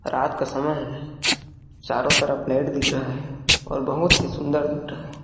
रात का समय है चारो तरफ़ लाइट दिख रहा है और बहुत ही सुन्दर दिख रहा है।